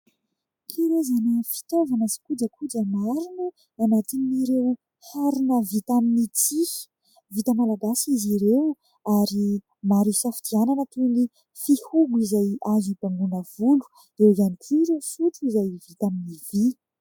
Karazana fitaovana sy kojakoja maro no anatin'ireo harona vita amin'ny tsihy, vita malagasy izy ireo ary maro isafidianana toy ny fihogo izay azo ibangona volo, eo ihany ireo sotro izay vita amin'ny vy.